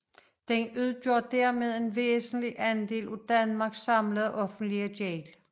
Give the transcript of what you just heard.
Den udgør dermed en væsentlig andel af Danmarks samlede offentlige gæld